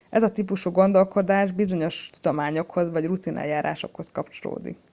ez a típusú gondolkodás bizonyos tudományokhoz vagy rutineljárásokhoz kapcsolódik